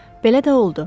Belə də oldu.